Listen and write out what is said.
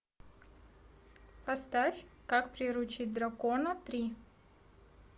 поставь как приручить дракона три